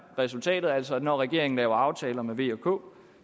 resultatet altså at når regeringen laver aftaler med v og k